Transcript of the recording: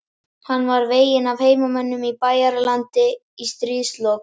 Hann var veginn af heimamönnum á Bæjaralandi í stríðslok.